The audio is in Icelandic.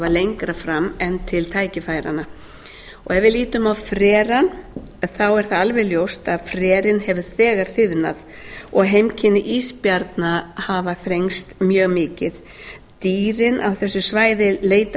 lengra en til tækifæranna ef við lítum á frerann er það alveg ljóst að frerinn hefur þegar þiðnað og heimkynni ísbjarna hafa þrengst mjög mikið dýrin á þessu svæði leita